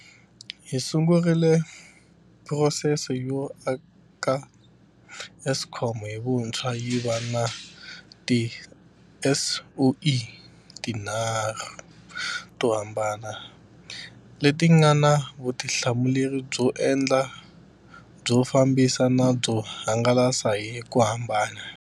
Hi sungurile phurosese yo aka Eskom hi vuntshwa yi va na tiSOE ti nharhu to hambana, leti nga na vutihlamuleri byo endla, byo fambisa na byo hangalasa, hi ku hambana.